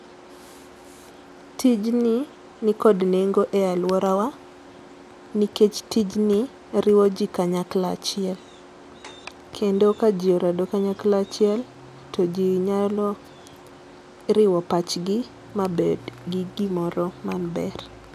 Tijni nikod nengo e alworawa nikech tijni riwo jii kanyakla achiel. Kendo ka jii orado kanyakla achiel to jii nyalo riwo pachgi mabed gi gimoro maber